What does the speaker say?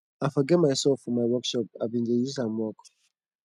i forget my saw for my work shop i bin dey use am work